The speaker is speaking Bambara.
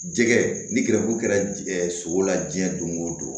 Jɛgɛ ni gɛrɛbu kɛra sogo la diɲɛ don o don